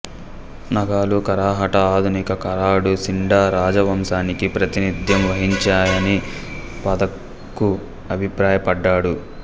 నాగాలు కరాహట ఆధునిక కరాడు సిండా రాజవంశానికి ప్రాతినిధ్యం వహించాయని పాథకు అభిప్రాయపడ్డాడు